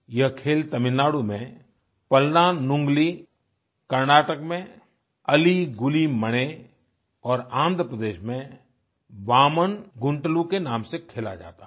यह खेल तमिलनाडु में पल्लान्गुली कर्नाटक में अलि गुलि मणे और आन्ध्र प्रदेश में वामन गुंटलू के नाम से खेला जाता है